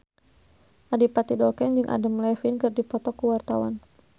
Adipati Dolken jeung Adam Levine keur dipoto ku wartawan